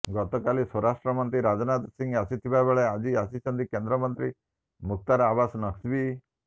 ଗତକାଲି ସ୍ବରାଷ୍ଟ୍ରମନ୍ତ୍ରୀ ରାଜନାଥ ସିଂହ ଆସିଥିବାବେଳେ ଆଜି ଆସିଛନ୍ତି କେନ୍ଦ୍ରମନ୍ତ୍ରୀ ମୁଖତାର ଆବାସ୍ ନକ୍ଭୀ